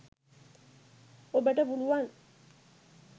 ඔබට පුළුවන්